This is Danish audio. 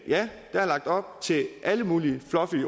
ja der er lagt op til alle mulige fluffy